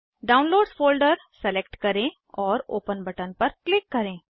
downloads folder select करें और open button पर क्लिक करें